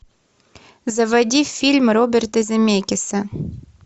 заводи фильм роберта земекиса